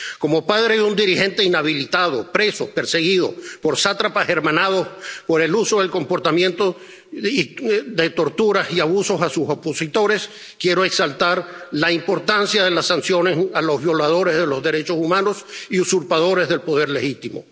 Como padre de un dirigente inhabilitado, preso, perseguido por sátrapas hermanados por el uso en su comportamiento de torturas y abusos contra sus opositores, quiero exaltar la importancia de las sanciones a los violadores de los derechos humanos y usurpadores del poder legítimo.